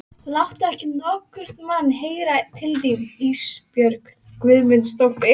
Láttu ekki nokkurn mann heyra til þín Ísbjörg Guðmundsdóttir.